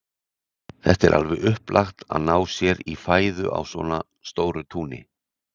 Þetta er alveg upplagt, að ná sér í fæðu á svona stóru túni.